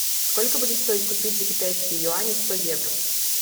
сколько будет стоить купить за китайские юани сто евро